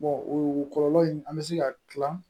o kɔlɔlɔ in an bɛ se ka kila